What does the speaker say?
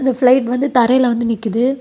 இந்த பிளைட் வந்து தரையில வந்து நிக்குது.